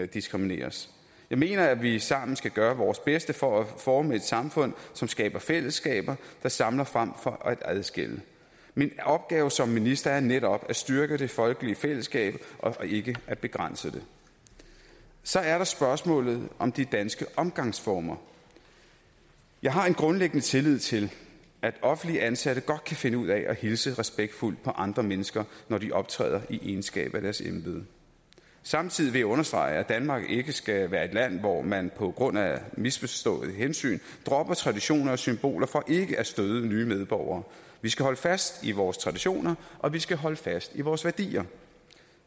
diskrimineres jeg mener at vi sammen skal gøre vores bedste for at forme et samfund som skaber fællesskaber der samler frem for at adskille min opgave som minister er netop at styrke det folkelige fællesskab og ikke at begrænse det så er der spørgsmålet om de danske omgangsformer jeg har en grundlæggende tillid til at offentligt ansatte godt kan finde ud af at hilse respektfuldt på andre mennesker når de optræder i egenskab af deres embede samtidig vil jeg understrege at danmark ikke skal være et land hvor man på grund af misforstået hensyn dropper traditioner og symboler for ikke at støde nye medborgere vi skal holde fast i vores traditioner og vi skal holde fast i vores værdier